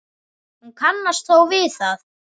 Hún kannast þó við það.